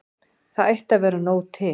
Það ætti að vera nóg til.